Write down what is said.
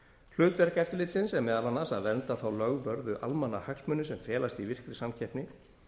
hlutverk eftirlitsins er meðal annars að vernda þá lögvörðu almannahagsmuni sem felast í virkri samkeppni